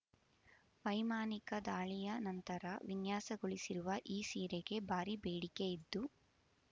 ವೈಮಾನಿಕ ದಾಳಿಯ ನಂತರ ವಿನ್ಯಾಸಗೊಳಿಸಿರುವ ಈ ಸೀರೆಗೆ ಭಾರಿ ಬೇಡಿಕೆಯಿದ್ದು